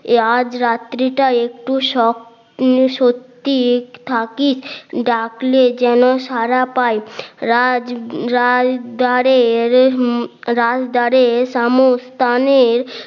আজ রাত্রি টা একটু সত্যি থাকিস ডাকলে যেন সাড়া পায় রাজ রাজদরে রাজদরে সামোস স্থানের